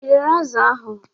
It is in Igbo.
Ị rere azụ̀ ahụ?